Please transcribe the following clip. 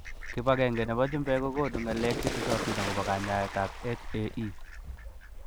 Kipagenge nebo chumbek kokonu ng'alek chetesotin agobo kanyaetab HAE.